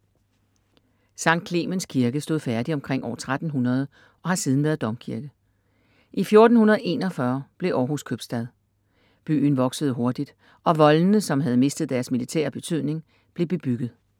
Skt. Clemens kirke stod færdig omkring år 1300 og har siden været domkirke. I 1441 blev Århus købstad. Byen voksede hurtigt og voldene, som havde mistet deres militære betydning, blev bebygget.